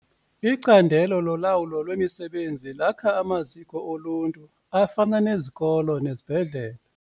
Icandelo lolawulo lwemisebenzi lakha amaziko oluntu afana nezikolo nezibhedlele.